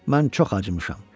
Mən çox acımışam.